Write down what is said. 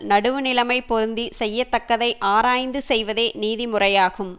நடுவு நிலைமைப் பொருந்தி செய்யத்தக்கதை ஆராய்ந்து செய்வதே நீதி முறையாகும்